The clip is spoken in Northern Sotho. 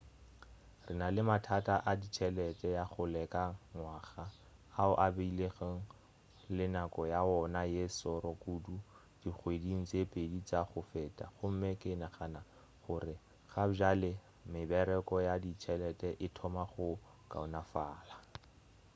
re na le mathata a ditšhelete ya go leka ngwaga ao a bilego le nako ya wona ye šoro kudu dingweding tše pedi tša go feta gomme ke nagana gore gabjale mebaraka ya ditšhelete e thoma go kaonafala